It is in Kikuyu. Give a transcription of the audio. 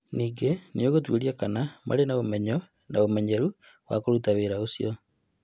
Ningĩ nĩ ĩgũtuĩria kana marĩ na ũmenyo na ũmenyeru wa kũruta wĩra ũcio.